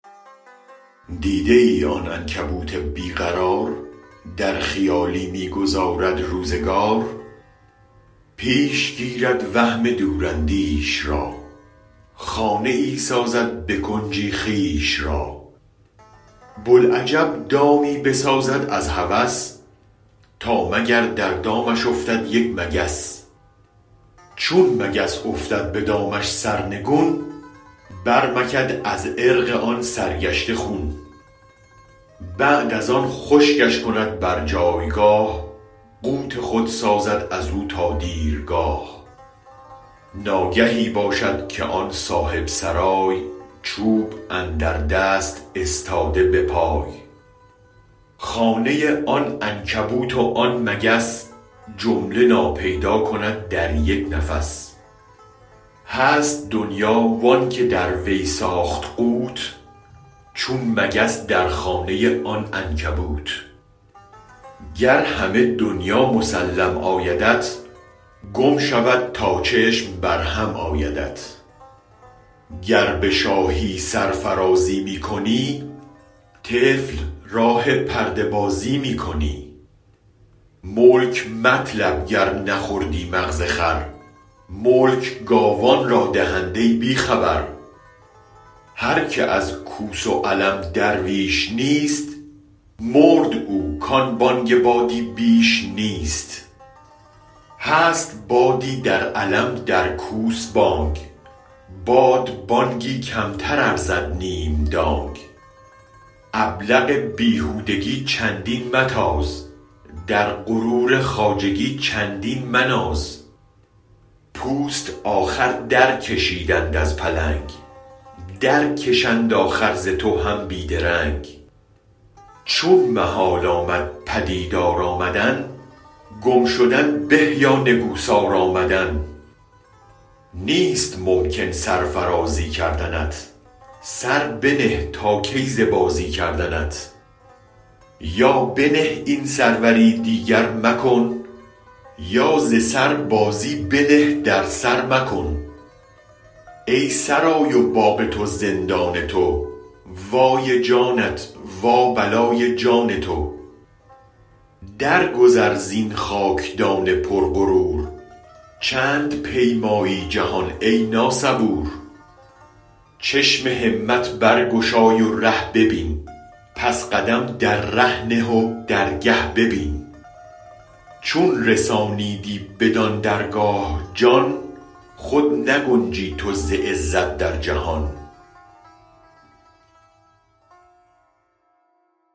دیده آن عنکبوت بی قرار در خیالی می گذارد روزگار پیش گیرد وهم دوراندیش را خانه ای سازد به کنجی خویش را بوالعجب دامی بسازد از هوس تا مگر در دامش افتد یک مگس چون مگس افتد به دامش سرنگون برمکد از عرق آن سرگشته خون بعد از آن خشکش کند بر جایگاه قوت خود سازد از و تا دیرگاه ناگهی باشد که آن صاحب سرای چوب اندر دست استاده بپای خانه آن عنکبوت و آن مگس جمله ناپیدا کند در یک نفس هست دنیا وانک دروی ساخت قوت چون مگس در خانه آن عنکبوت گر همه دنیا مسلم آیدت گم شود تا چشم بر هم آیدت گر به شاهی سرفرازی می کنی طفل راه پرده بازی می کنی ملک مطلب گر نخوردی مغز خر ملک گاوان را دهند ای بی خبر هرک از کوس و علم درویش نیست مرد او کان بانگ بادی بیش نیست هست بادی در علم در کوس بانگ باد بانگی کمتر ارزد نیم دانگ ابلق بیهودگی چندین متاز در غرور خواجگی چندین مناز پوست آخر درکشیدند از پلنگ درکشند آخر ز تو هم بی درنگ چون محال آمد پدیدار آمدن گم شدن به یا نگو سار آمدن نیست ممکن سرفرازی کردنت سر بنه تا کی ز بازی کردنت یا بنه این سروری دیگر مکن یا ز سربازی بنه در سرمکن ای سرای و باغ تو زندان تو وای جانت وابلای جان تو در گذر زین خاکدان پر غرور چند پیمایی جهان ای ناصبور چشم همت برگشای و ره ببین پس قدم در ره نه و درگه ببین چون رسانیدی بدان درگاه جان خود نگنجی تو ز عزت در جهان